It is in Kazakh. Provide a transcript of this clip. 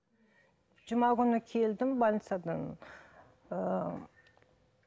жұма күні келдім больницадан ыыы